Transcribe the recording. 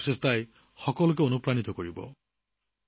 তেওঁলোকৰ এই প্ৰচেষ্টাই সকলোকে অনুপ্ৰাণিত কৰিব